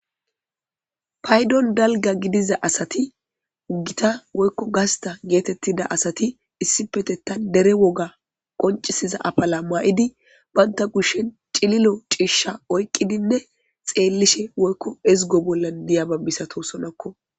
paydon dalga gidiza asati uggita woykko gasta geetettida asati issipetetta dere woga qoncisiza apala maa7idi baynta kushshen cililo ciishsha oyqqidinne xeellishe woykko ezgo bollan diyababbisato sonokko